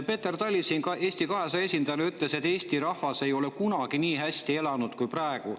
Peeter Tali Eesti 200 esindajana ütles, et Eesti rahvas ei ole kunagi nii hästi elanud kui praegu.